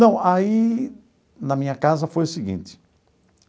Não, aí na minha casa foi o seguinte.